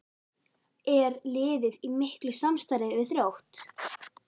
Er liðið í miklu samstarfi við Þrótt?